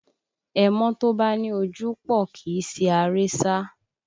Ẹmọ́ tó bá ní ojúpòó kì í si aré sá